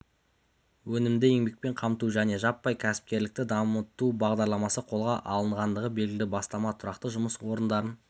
өнімді еңбекпен қамту және жаппай кәсіпкерлікті дамыту бағдарламасы қолға алынғандығы белгілі бастама тұрақты жұмыс орындарын